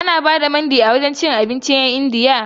Ana ba da Mandi a wajen cin abincin 'yan Indiyan nan?